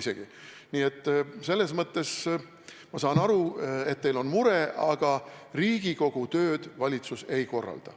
Üldiselt ma saan aru, et teil on mure, aga Riigikogu tööd valitsus ei korralda.